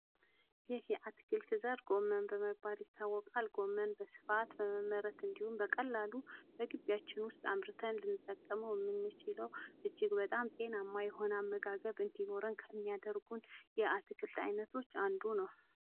ይህ የአትክልት ዘር ጎመን በመባል ይታወቃል። ጎመን በስፋት በመመረት እንዲሁም በቀላሉ እግቢያችን ውስጥ አምርተን ልንጠቀመው የምንችለው እጅግ በጣም ጤናማ የሆነ አመጋገብ እንዲኖረን ከሚያደርጉን የአትክልት አይነቶች አንዱ ነው።